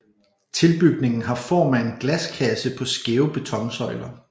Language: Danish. Tilbygningen har form af en glaskasse på skæve betonsøjler